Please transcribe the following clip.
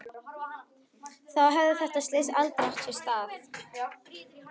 Þá hefði þetta slys aldrei átt sér stað.